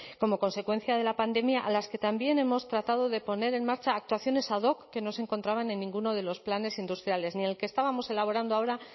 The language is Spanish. como consecuencia de la pandemia a las que también hemos tratado de poner en marcha actuaciones ad hoc que no se encontraban en ninguno de los planes industriales ni en el que estábamos elaborando ahora